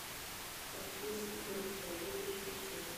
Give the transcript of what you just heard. каспийский груз доедешь пиши